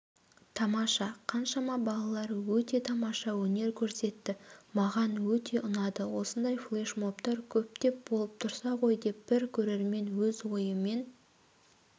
тамаша қаншама балалар өте тамаша өнер көрсетті маған өте ұнады осындай флешмобтар көптеп болып тұрса ғой деп бір көрермен өз ойымен